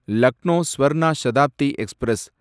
Lucknow Swarna Shatabdi express